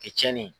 Kɛ tiɲɛni ye